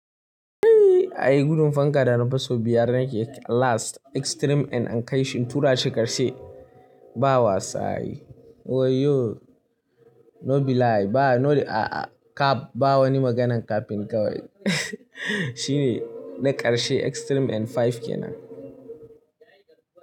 Eh ai gudun fanka da nafi so biyar nake last extreme and an kai shi turaci ƙarshe ba wasa ai Oyoyo no be lie ba no a a cap ba wani maganan capping kawai shine na ƙarshe extreme and five kenan.